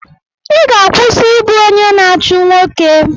Ị ga-akwụsị ịbụ onye na-achụ nwoke!